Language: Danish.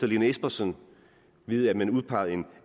lene espersen ved at man udpegede en